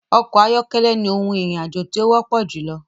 Ọkọ̀ ayọ́kẹ́lẹ́ ni ohun ìrìn àjò tí ó wọ́pọ̀ júlọ.